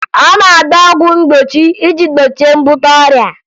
A na-agba ọgwụ mgbochi iji gbochie mbute ọrịa